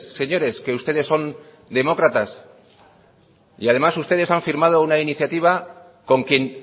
señores que ustedes son demócratas y además ustedes han firmado una iniciativa con quien